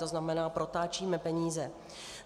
To znamená, protáčíme peníze.